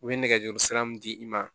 U bɛ nɛgɛjuru sira min di i ma